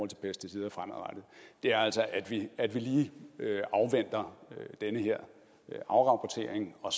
til pesticider fremadrettet er altså at vi lige afventer den her afrapportering og